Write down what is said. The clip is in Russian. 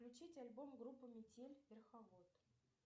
включить альбом группы метель верховод